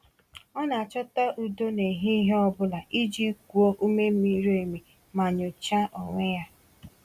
Ọ na-achọta udo n’ehihie ọ bụla iji kuo ume miri emi ma nyochaa onwe ya.